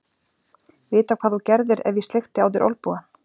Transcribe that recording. Vita hvað þú gerðir ef ég sleikti á þér olnbogann.